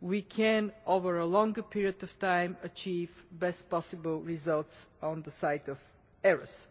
we can, over a longer period of time, achieve the best possible results on the side of errors.